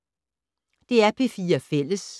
DR P4 Fælles